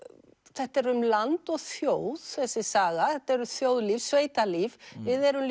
þetta er um land og þjóð þessi saga þetta er um þjóðlíf sveitalíf við erum